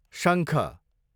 शङ्ख